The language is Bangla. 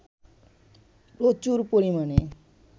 প্রচুর পরিমাণে